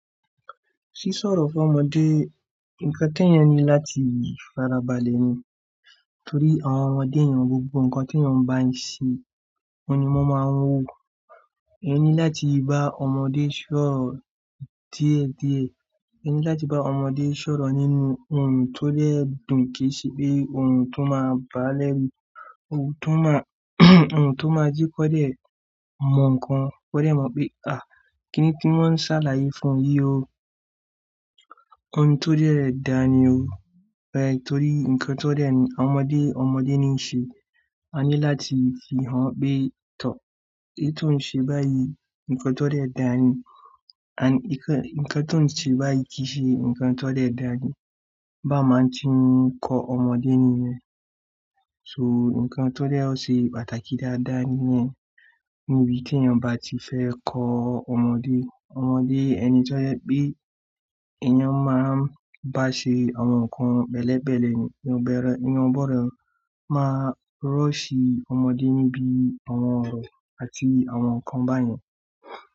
Sí sọ̀rọ̀ fún ọmọdé, nǹkan t'èèyàn ní láti fara balẹ̀ ni. Nítorí àwọn ọmọdé yẹn gbogbo nǹkan t'éèyàn bá ń ṣe, òhun ni wọ́n máa ń wo. Èèyàn ní láti bá ọmọdé sọ̀rọ̀ díẹ̀ díẹ̀, èèyàn ní láti bá ọmọdé sọ̀rọ̀ nínú ohùn tó dẹ̀ dùn, kìí ṣe pé ohùn tó máa bàá lẹ́rù, ohùn tó máa ohùn tó máa jẹ́ kó dẹ̀ mọ nǹkan, kó dẹ̀ mọ̀ pé, kíni tí wọ́n ń ṣàlàyé fún mi yìí o. Ohun tó dẹ̀ dáa ni o. Torí nǹkan tó dẹ̀, àwọn ọmọdé, ọmọdé ní ń ṣe. A ní láti fi hàn-án pé, èyí tó ń ṣe báyìí, nǹkan tó dẹ̀ dáa ni. Nǹkan tóò ń ṣe báyìí, kì í ṣe nǹkan tó dẹ̀ dáa ni. Báa ma ti ń kọ́ ọmọdé nìyẹn. Nǹkan tó dẹ̀ ṣe pàtàkì dáadáa nìyẹn. Níbi tí èèyàn bá ti fẹ́ kọ́ ọmọdé, ọmọdé ẹni tó jẹ́ pé èèyàn máa ń bá ṣe àwọn nǹkan pẹ̀lẹ́pẹ̀lẹ́ ni, èèyàn ò gbọdọ̀ máa rush ọmọdé níbi àwọn ọ̀rọ̀ àti àwọn nǹkan báyẹn.